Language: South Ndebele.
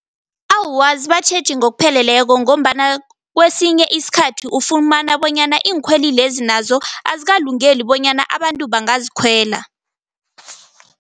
Awa, azibatjheji ngokupheleleko ngombana kwesinye iskhathi ufumana bonyana iinkhweli lezi nazo azikalungeli bonyana abantu bangazikhwela.